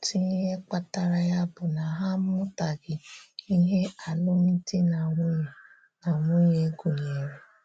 Òtù ihè kpatara ya bụ̀ na ha amụtaghị̀ ihè álụ́mdi na nwunye na nwunye gụ̀nyerè.